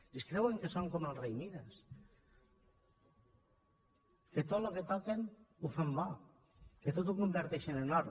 i es creuen que són com el rei mides que tot el que toquen ho fan bo que tot ho converteixen en or